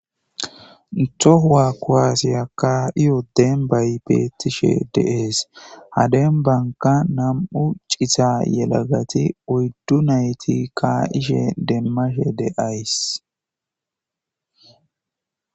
tohuwa kuwaasiya kaa'iyo dembay bettishe de'ees ha dembankka nam'u cita yelagati oyddu nayti kaa'ishe demmashe de'ays